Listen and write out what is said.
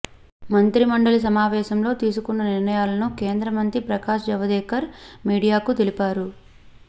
మంత్రిమండలి సమావేశంలో తీసుకున్న నిర్ణయాలను కేంద్ర మంత్రి ప్రకాశ్ జవదేకర్ మీడియాకు తెలిపారు